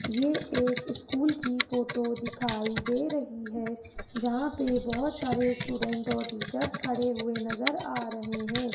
ये एक स्कूल की फ़ोटो दिखाई दे रही है जहां पे बहुत सारे स्टूडेंट और टीचर्स खडे हुए नज़र आ रहे है।